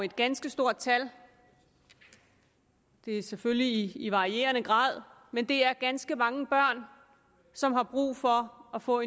et ganske stort tal det er selvfølgelig i varierende grad men det er ganske mange børn som har brug for at få